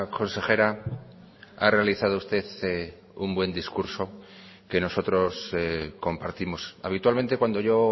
consejera ha realizado usted un buen discurso que nosotros compartimos habitualmente cuando yo